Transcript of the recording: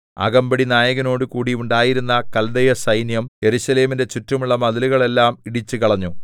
അകമ്പടിനായകനോടുകൂടി ഉണ്ടായിരുന്ന കല്ദയസൈന്യം യെരൂശലേമിന്റെ ചുറ്റുമുള്ള മതിലുകളെല്ലാം ഇടിച്ചുകളഞ്ഞു